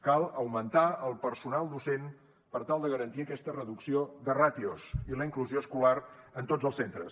cal augmentar el personal docent per tal de garantir aquesta reducció de ràtios i la inclusió escolar en tots els centres